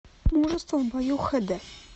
мужество в бою хэ дэ